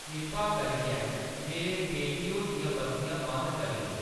किरपा करियै मेरे पेटियो दियां बत्तियाँ बंद करी देओ